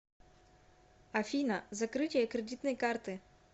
афина закрытие кредитной карты